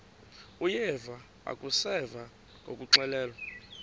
uyeva akuseva ngakuxelelwa